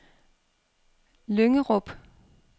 Lyngerup